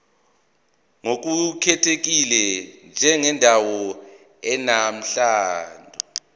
ngokukhethekile njengendawo enomlando